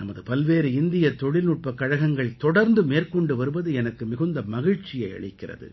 நமது பல்வேறு இந்திய தொழில்நுட்பக் கழகங்கள் தொடர்ந்து மேற்கொண்டு வருவது எனக்கு மிகுந்த மகிழ்ச்சியை அளிக்கிறது